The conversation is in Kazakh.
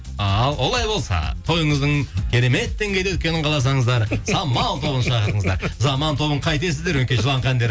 ал олай болса тойыңыздың керемет деңгейде өткенін қаласаңыздар самал тобын шақырыңыздар заман тобын қайтесіздер өңкей жылаңқы әндер